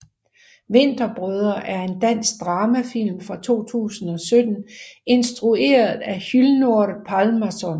Vinterbrødre er en dansk dramafilm fra 2017 instrueret af Hlynur Pálmason